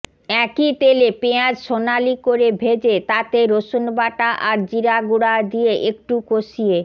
একই তেলে পেঁয়াজ সোনালি করে ভেজে তাতে রসুনবাটা আর জিরাগুঁড়া দিয়ে একটু কষিয়ে